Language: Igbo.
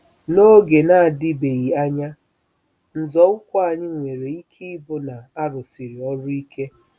N'oge na-adịbeghị anya, nzọụkwụ anyị nwere ike ịbụ na a rụsiri ọrụ ike.